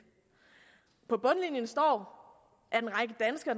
på bundlinjen står